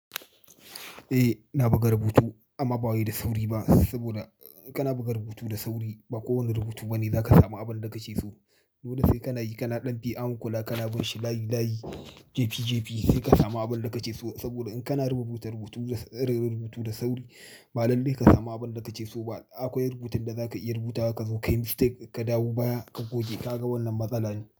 Eh, ina buga rubutu amma ba wai da sauri ba. Saboda in kana buga rubutu da sauri, ba kowane rubutu ba ne za ka samu abin da kake so. Dole sai kana yi, kana ɗan bi, ahankula, kana binshi layi layi, JP JP sai ka samu abin da kake so. Saboda in kana rubuta rubutu, rubutu da sauri, ba lalle ka samu abin da kake so ba. Akwai rubutun da za ka iya rubuta, ka zo ka yi mistake, ka dawo baya, ka goge, ka ga wannan matsala ne.